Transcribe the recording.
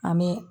An bɛ